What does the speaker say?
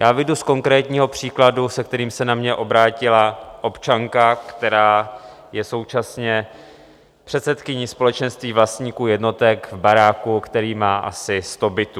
Já vyjdu z konkrétního příkladu, se kterým se na mě obrátila občanka, která je současně předsedkyní společenství vlastníků jednotek v baráku, který má asi sto bytů.